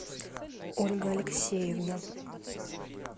ольга алексеевна